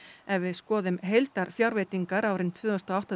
ef við skoðum heildarfjárveitingar árin tvö þúsund og átta